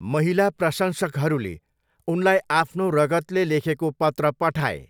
महिला प्रशंसकहरूले उनलाई आफ्नो रगतले लेखेको पत्र पठाए।